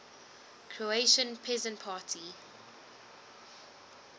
croatian peasant party